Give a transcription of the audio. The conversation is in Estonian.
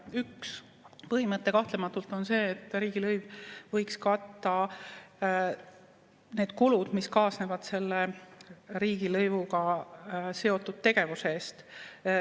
Üks põhimõte kahtlematult on see, et riigilõiv võiks katta need kulud, mis kaasnevad selle riigilõivuga seotud tegevusega.